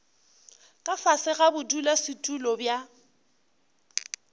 ka fase ga bodulasetulo bja